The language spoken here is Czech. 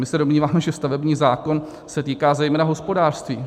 My se domníváme, že stavební zákon se týká zejména hospodářství.